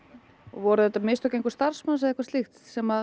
voru þetta mistök einhvers starfsmanns eða eitthvað slíkt sem